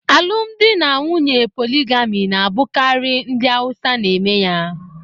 Alụmdi na nwunye poligami na-abụkarị ndị Awusa n'eme ya